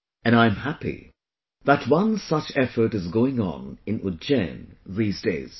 And I am happy that one such effort is going on in Ujjain these days